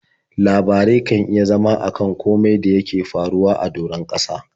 Labarai kan iya zama a kan komai da yake faruwa a doron ƙasa.